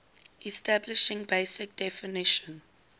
establishing basic definition